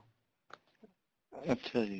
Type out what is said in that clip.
ਅੱਛਾ ਜੀ